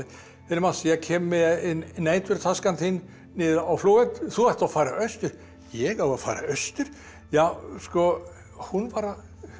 Mats ég kem með næturtöskuna þína niður á flugvöll þú ert að fara austur ég að fara austur já sko hún var að